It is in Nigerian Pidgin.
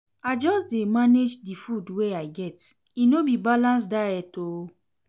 I just dey manage di food wey I get, e no be balanced diet o.